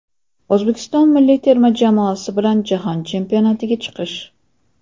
O‘zbekiston milliy terma jamoasi bilan Jahon Chempionatiga chiqish.